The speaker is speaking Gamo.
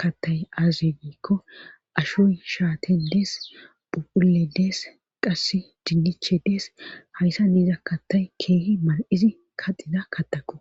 kattay aazegiikko ashoy shaaten dees phuphule dees qass dinniche dees hayssa niiza kattay keehi mal7izi kaxida kattako.